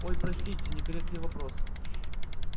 ой простите некорректный вопрос